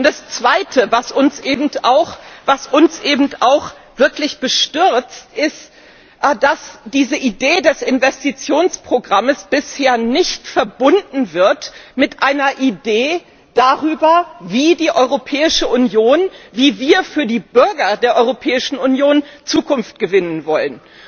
Das Zweite, das uns eben auch wirklich bestürzt, ist, dass diese Idee des Investitionsprogrammes bisher nicht verbunden wird mit einer Idee, wie die Europäische Union, wie wir für die Bürger der Europäischen Union Zukunft gewinnen wollen.